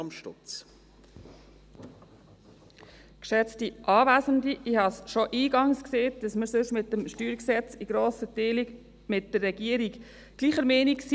Ich habe schon eingangs gesagt, dass wir sonst betreffend das StG in grossen Teilen mit der Regierung gleicher Meinung sind.